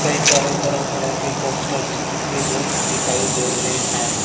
कई सारे तरह तरह के पोस्टर्स चिपके हुए दिखाई दे रहे हैं।